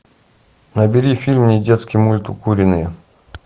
набери фильм недетский мульт укуренные